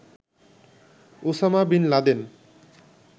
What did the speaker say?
Osama bin Laden